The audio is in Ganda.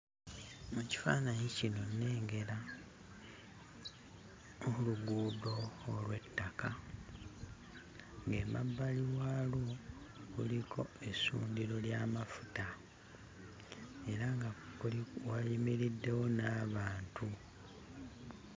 Mu kifaananyi kino nnengera oluguudo olw'ettaka, ng'emabbali waalwo kuliko essundiro ly'amafuta era nga kuli wayimiriddewo n'abantu.